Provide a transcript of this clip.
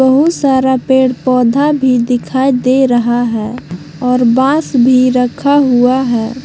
बहुत सारा पेड़ पौधा भी दिखाई दे रहा है और बांस भी रखा हुआ है।